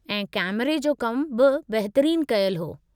ऐं कैमरे जो कमु बि बहितरीन कयलु हो।